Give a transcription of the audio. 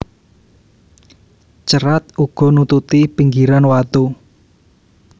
Cerat uga nututi pinggiran watu